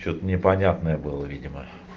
что-то непонятное было видимо